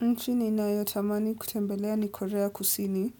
Nchi ninayotamani kutembelea ni korea kusini,